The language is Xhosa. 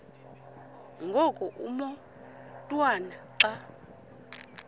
ngoku umotwana xa